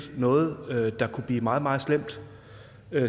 noget der kunne blive meget meget slemt